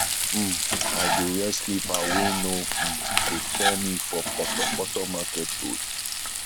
um i dey wear slipper wey no um go fall me for potopoto market road